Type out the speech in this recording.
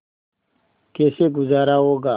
कैसे गुजारा होगा